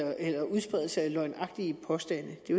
udspredelse af løgnagtige påstande det